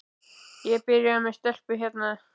Ég er byrjaður með stelpu hérna.